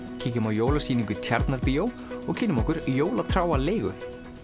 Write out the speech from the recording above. kíkjum á jólasýningu í Tjarnarbíó og kynnum okkur jólatrjáaleigu